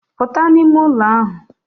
Puta n'ime ulo ahu.